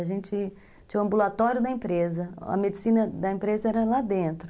A gente tinha o ambulatório da empresa, a medicina da empresa era lá dentro.